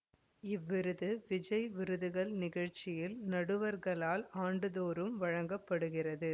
இவ்விருது விஜய் விருதுகள் நிகழ்ச்சியில் நடுவர்களால் ஆண்டுதோறும் வழங்க படுகிறது